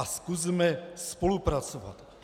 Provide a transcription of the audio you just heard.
A zkusme spolupracovat.